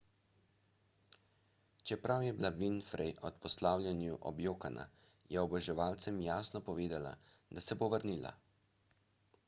čeprav je bila winfrey ob poslavljanju objokana je oboževalcem jasno povedala da se bo vrnila